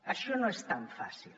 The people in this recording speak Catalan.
això no és tan fàcil